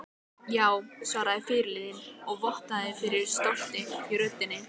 Já, svaraði fyrirliðinn og vottaði fyrir stolti í röddinni.